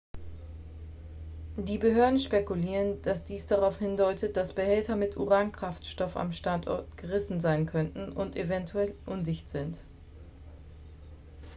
die behörden spekulieren dass dies darauf hindeutet dass behälter mit uran-kraftstoff am standort gerissen sein könnten und eventuell undicht sind